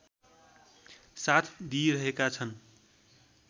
साथ दिइरहेका छन्